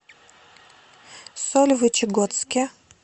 сольвычегодске